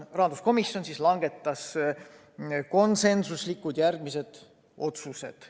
Rahanduskomisjon langetas järgmised konsensuslikud otsused.